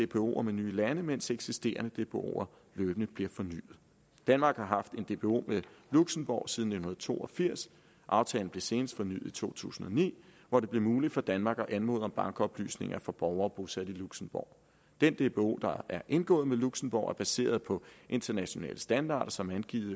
dboer med nye lande mens eksisterende dboer løbende bliver fornyet danmark har haft en dbo med luxembourg siden nitten to og firs aftalen blev senest fornyet i to tusind og ni hvor det blev muligt for danmark at anmode om bankoplysninger for borgere bosat i luxembourg den dbo der er indgået med luxembourg er baseret på internationale standarder som angivet